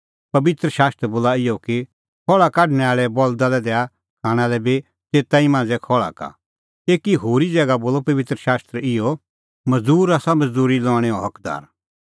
पबित्र शास्त्र बोला इहअ कि खहल़ा काढणैं आल़ै बल्दा लै दैणअ खाणां लै बी तेता ई मांझ़ै खहल़ा का एकी होरी ज़ैगा बोला पबित्र शास्त्र इहअ मज़दूर आसा मज़दूरी लणेंओ हकदार